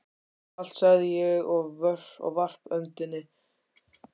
Allt, sagði ég og varp öndinni.